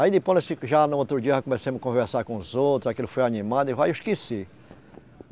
Aí depois, nós já no outro dia, já começamos a conversar com os outros, aquilo foi animando e vai, eu esqueci.